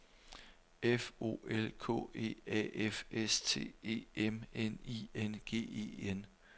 F O L K E A F S T E M N I N G E N